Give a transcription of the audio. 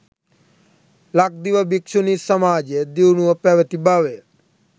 ලක්දිව භික්‍ෂුණි සමාජය දියුණුව පැවැති බවය.